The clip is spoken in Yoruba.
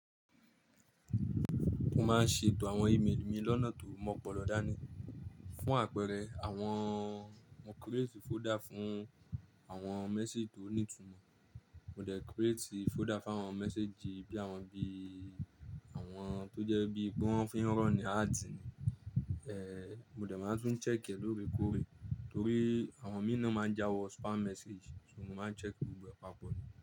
Mo máa ń ṣètò àwọn email mi lọ́nà tó mọ̀ pọ̀ lọ dá ní. Fún àpẹẹrẹ, àwọn mo create folder fún àwọn message tó ní ìtumọ̀. Mo dẹ̀ create folder fún àwọn message bíi àwọn bí i àwọn tó jẹ́ bí pé wan fí ronú ads ni. Ehn, mo dẹ̀ máa tún ń check ẹ lóòrè kóòrè torí àwọn mi náà máa ń jáwọ spam message, ṣùgbọ́n mo máa ń check gbogbo ẹ papọ̀ ni.